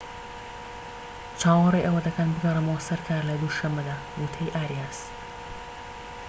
چاوەڕێی ئەوە دەکەن بگەڕێمەوە سەر کار لە دووشەمەدا وتەی ئاریاس